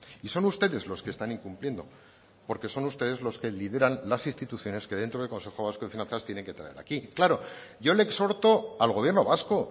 y son ustedes los que están incumpliendo porque son ustedes los que lideran las instituciones que dentro del consejo vasco de finanzas tienen que traer aquí claro yo le exhorto al gobierno vasco